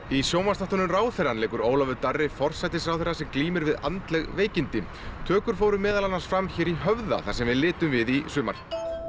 í sjónvarpsþáttunum ráðherrann leikur Ólafur Darri forsætisráðherra sem glímir við andleg veikindi tökur fóru meðal annars fram hér í Höfða þar sem við litum við í sumar